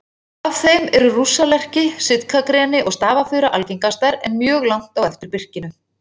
Af þeim eru rússalerki, sitkagreni og stafafura algengastar, en mjög langt á eftir birkinu.